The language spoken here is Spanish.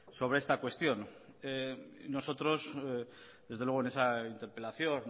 sobre esta cuestión nosotros desde luego en esa interpelación